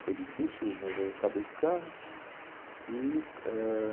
Foi difícil, mas eu acabei ficando.